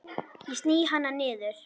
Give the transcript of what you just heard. Ég sný hana niður.